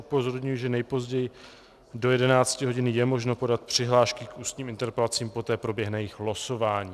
Upozorňuji, že nejpozději do 11 hodin je možno podat přihlášky k ústním interpelacím, poté proběhne jejich losování.